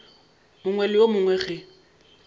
mongwe le yo mongwe ge